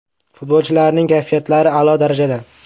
Futbolchilarning kayfiyatlari a’lo darajada.